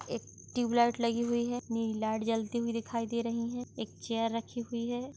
एक ट्यूबलाइट लगी हुई हैं लाइट जलती हुई दिखाई दे रही हैं एक चेयर रखी हुई हैं।